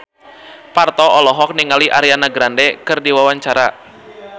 Parto olohok ningali Ariana Grande keur diwawancara